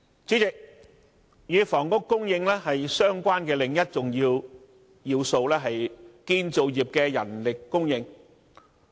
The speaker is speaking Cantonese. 主席，與房屋供應相關的另一要素是建造業的人力供應。